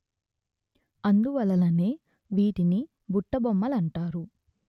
అందువలననే వీటిని బుట్టబొమ్మలంటారు